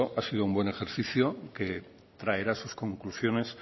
ha sido buen ejercicio que traerá sus conclusiones